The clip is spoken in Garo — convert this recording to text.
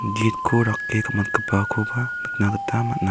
gitko rake gam·atgipakoba nikna gita man·a.